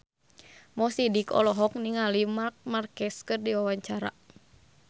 Mo Sidik olohok ningali Marc Marquez keur diwawancara